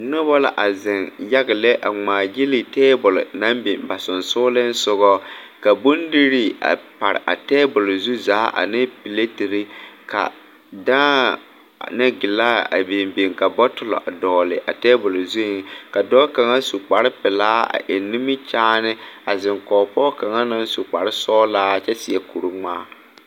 Nobɔ la a zeŋ yaga lɛ a ngmaagyile tabole naŋ biŋ ba seŋsugliŋsugɔ ka bondirii a pare a tabole zu zaa ane pilatire ka dãã ane gilaa a biŋ biŋ ka bɔtullɔ a dɔgle a tabole zuiŋ ka dɔɔ kaŋa su kparepelaa a eŋ nimikyaane a zeŋ kɔge pɔge kaŋa naŋ su kparesɔglaa kyɛ seɛ kuringmaa.